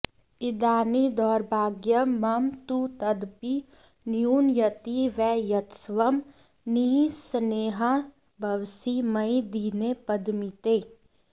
इदानीं दौर्भाग्यं मम तु तदपि न्यूनयति वै यतस्वं निःस्नेहा भवसि मयि दीने पदमिते